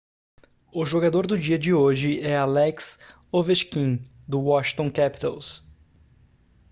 o jogador do dia de hoje é alex ovechkin do washington capitals